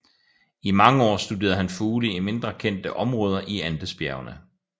I mange år studerede han fugle i mindre kendte områder i Andesbjergene